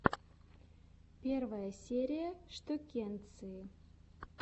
первая серия штукенции